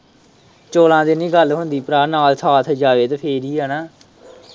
ਚੋਲਾਂ ਦੀ ਨੀ ਗੱਲ ਹੁੰਦੀ ਭਰਾ ਨਾਲ਼ ਸਾਥ ਜਾਵੇ ਤੇ ਫੇਰ ਹੀ ਨਾ।